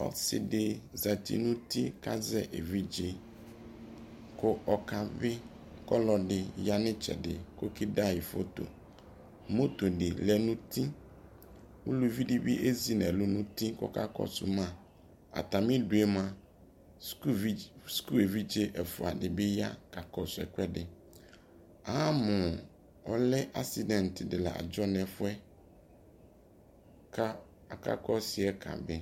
Ɔsi di zati nuti kazɛ ɛvidze ku ɔka bi Kɔlɔdi ya nu itsedi kɛ da yi fotoMoto di lɛ nutiUluvi di bi ɛzi nɛlu nuti kakɔ su ma Atami du yɛ mua, suku ɛvidze ɛfua di bi ya ka kɔsu ɛkuɛdiAmu ɔlɛ asidɛnt di la dzɔ nɛ fuɛKa aka kɔsi yɛ kabi